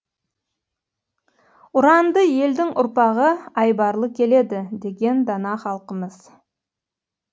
ұранды елдің ұрпағы айбарлы келеді деген дана халқымыз